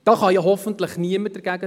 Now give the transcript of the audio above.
Dagegen kann hoffentlich niemand sein!